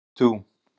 Hep tú!